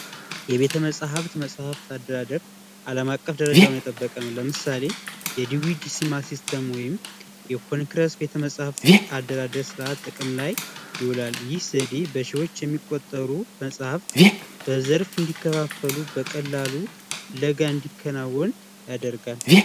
የቤተ መጻፍት መጽሐፍ አደራደር አለም አቀፍ ደረጃን የጠበቀ ነው ለምሳሌ የኮንግረስ ቤተመፃፍት አደራደር በመጠቀም ይውላል ይህ ሲዲ በሺወች የሚቆጠሩ መጽሃፍ በዘርፍ እንዲከፋፈሉ በቀላሉ ፍለጋን ያደርጋል።